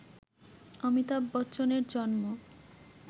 অমিতাভ বচ্চনের জন্ম